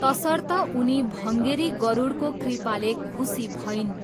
तसर्थ उनी भङ्गेरी गरुडको कृपाले खुसी भइन्।